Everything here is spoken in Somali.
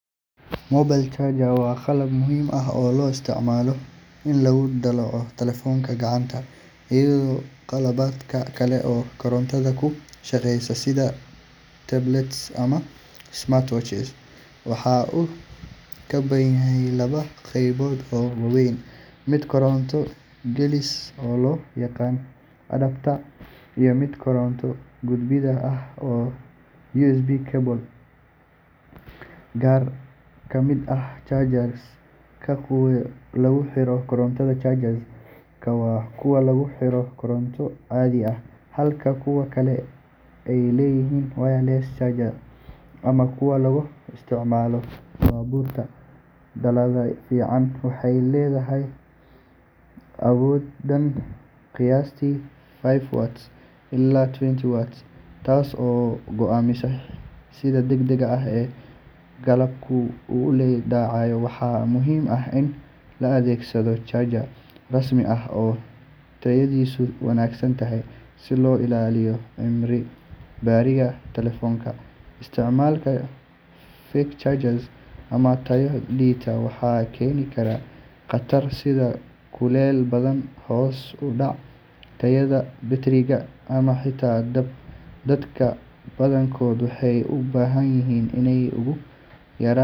Mobile charger waa qalab muhiim ah oo loo isticmaalo in lagu dallaco telefoonka gacanta iyo qalabka kale ee korontada ku shaqeeya sida tablets ama smart watches. Waxa uu ka kooban yahay laba qaybood oo waaweyn: mid koronto gelisa oo loo yaqaan adapter iyo mid koronto gudbiya oo ah USB cable. Qaar ka mid ah chargers-ka waa kuwo lagu xiro koronto caadi ah, halka kuwa kale ay yihiin wireless chargers ama kuwa laga isticmaalo baabuurta. Dalladda fiican waxay leedahay awood dhan qiyaastii five watts ilaa twenty watts, taas oo go’aamisa sida degdeg ah ee qalabku u dallacayo. Waxaa muhiim ah in la adeegsado charger rasmi ah oo tayadiisu wanaagsan tahay si loo ilaaliyo cimriga batteriga telefoonka. Isticmaalka fake chargers ama tayo liita waxay keeni karaan khatar sida kuleyl badan, hoos u dhaca tayada batteriga, ama xitaa dab. Dadka badankood waxay u baahan yihiin inay ugu yaraan.